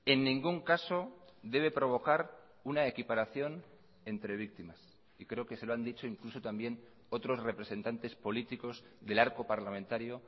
en ningún caso debe provocar una equiparación entre víctimas y creo que se lo han dicho incluso también otros representantes políticos del arco parlamentario